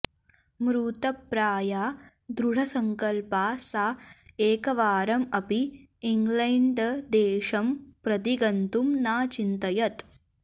मृतप्राया दृढसङ्कल्पा सा एकवारम् अपि इङ्ग्लैण्डदेशं प्रति गन्तुं नाचिन्तयत्